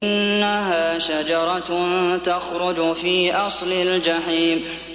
إِنَّهَا شَجَرَةٌ تَخْرُجُ فِي أَصْلِ الْجَحِيمِ